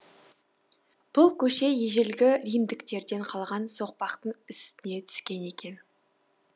бұл көше ежелгі римдіктерден қалған соқпақтың үстіне түскен екен